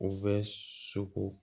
U bɛ so ko